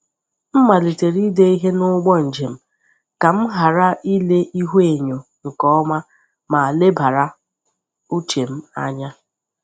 M malitere ide ihe n’ụgbọ njem ka m ghara ile ihuenyo nke ọma ma lebara uche m anya.